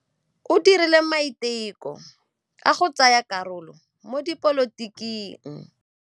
O dirile maitekô a go tsaya karolo mo dipolotiking.